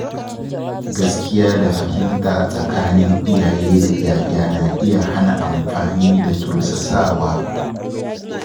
Gaskiya da fahimta tsakanin iyaye da ‘ya’ya na iya hana amfani da tursasawa.